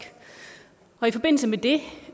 og i forbindelse med det